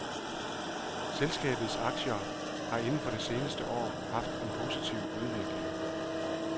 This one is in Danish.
Selskabets aktier har inden for det seneste år haft en positiv udvikling.